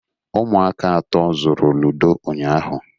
Ụmụaka atọ zụrụ ludo ụnyaahụ.